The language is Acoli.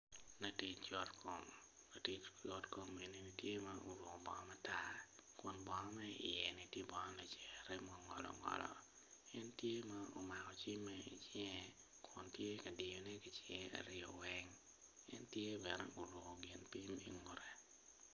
Latic yotkom latic yotkom eni ni tye ma oruku bongo matar kun bongo ma iye-ni tye bongo lacere ma ongolo ngolo en tye ma omako cimme i cinge kun tye ka diyone ki cinge aryo weny en tye bene oruku gin pim ingute